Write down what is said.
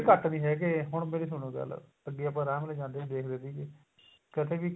ਘੱਟ ਨੀ ਹੈਗੇ ਹੁਣ ਮੇਰੀ ਸੁਣੋ ਗੱਲ ਅੱਗੇ ਆਪਾਂ ਆਰਾਮ ਨਾਲ ਜਾਂਦੇ ਹੁੰਦੇ ਸੀ ਹਵੇਲੀ ਤੇ ਕਦੇ ਵੀ